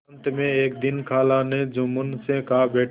अंत में एक दिन खाला ने जुम्मन से कहाबेटा